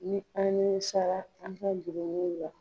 Ni an nimisara an ka jurumu la.